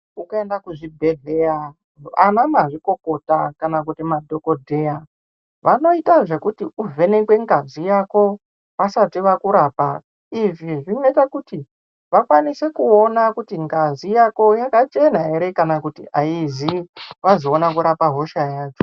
Ukaenda kuzvibhedhleya ana mazvikokota kana kuti madhokodheya vanoita zvekuti uvhenekwe ngazi yako vasati vakurapa izvi zvinoita kuti vakwanise kuona kuti ngazi yako yakachena ere kana kuti aizi vazoona kurapa hosha yacho.